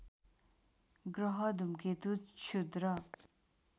ग्रह धूमकेतु क्षुद्र